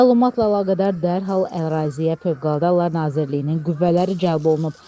Məlumatla əlaqədar dərhal əraziyə Fövqəladə Hallar Nazirliyinin qüvvələri cəlb olunub.